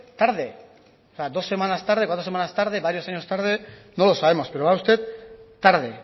tarde o sea dos semanas tarde cuatro semanas tarde varios años tarde no lo sabemos pero va usted tarde